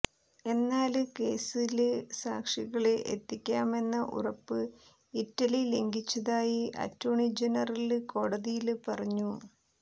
എന്നാല് കേസില് സാക്ഷികളെ എത്തിക്കാമെന്ന ഉറപ്പ് ഇറ്റലി ലംഘിച്ചതായി അറ്റോര്ണി ജനറല് കോടതിയില് പറഞ്ഞു